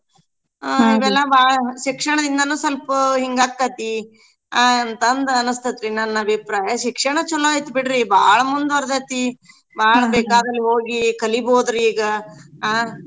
ಶಿಕ್ಷಣದಿಂದನು ಸ್ವಲ್ಪ ಹಿಂಗ್ ಆಕೇತ್ತಿ ಅ ಅಂತಂದ್ ಅನ್ಸ್ತತೇತ್ರೀ ನನ್ ಅಭಿಪ್ರಾಯ. ಶಿಕ್ಷಣ ಚೊಲೋ ಐತ್ ಬಿಡ್ರಿ ಬಾಳ್ ಮುಂದ್ವರ್ದೇತಿ ಬಾಳ್ ಬೇಕಾದಲ್ ಹೋಗಿ ಕಲಿಬೌದೀಗ ಆ. ಎಲ್ಲಾ ಮಾಡ್ಬೋದು ಸ್ವಲ್ಪ ಗಂಡ್ಮಕ್ಳಿಗೂ ಹೆಚ್ಚು ಪ್ರಾಮುಕ್ಯತೆ ಕೊಡ್ಬೇಕು ಅನ್ನಸ್ತೇತ ನನ್ಗ್ .